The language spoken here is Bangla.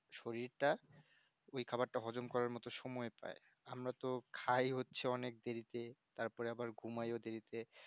শরীরটা ওই খাবারটা হজম করার মতো সময় পাই আমরাতো খাই হচ্ছে অনেক দেরিতে তারপর আবার ঘুমাইও দেরিতে